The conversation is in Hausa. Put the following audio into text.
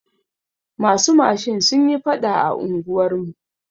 Masu mashin sunyi faɗa a unguwar mu.